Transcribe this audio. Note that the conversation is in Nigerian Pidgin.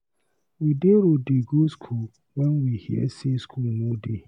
We dey road dey go school when we hear say school no dey.